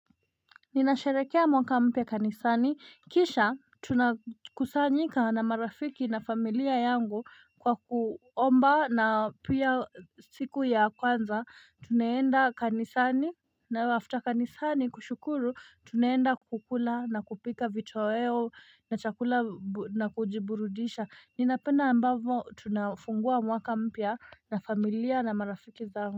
Ninasharekea mwaka mpya kanisani kisha tunakusanyika na marafiki na familia yangu kwa kuomba na pia siku ya kwanza tuneenda kanisani na after kanisani kushukuru tuneenda kukula na kupika vitoweo na chakula na kujiburudisha ninapenda ambavo tunafungua mwaka mpya na familia na marafiki zangu.